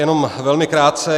Jenom velmi krátce.